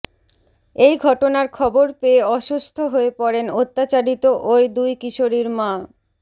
এই ঘটনার খবর পেয়ে অসুস্থ হয়ে পড়েন অত্যাচারিত ওই দুই কিশোরীর মা